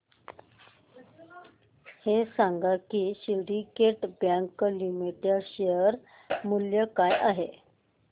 हे सांगा की सिंडीकेट बँक लिमिटेड चे शेअर मूल्य काय आहे